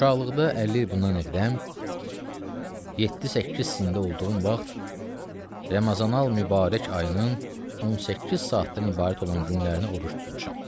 Uşaqlıqda 50-yə bundan əqdəm 7-8 sində olduğum vaxt Ramazanül Mübarək ayının 18 saatdan ibarət olan günlərini oruc tutmuşam.